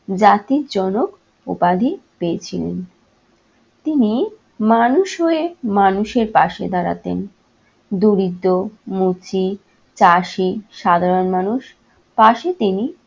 জাতির জনক উপাধি পেয়েছিলেন। তিনি মানুষ হয়ে মানুষের পাশে দাঁড়াতেন। দরিদ্র, মুচি, চাষী সাধারণ মানুষ পাশে তিনি